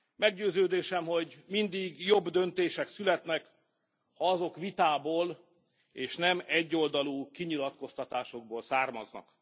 Meggyőződésem, hogy mindig jobb döntések születnek, ha azok vitából és nem egyoldalú kinyilatkoztatásokból származnak.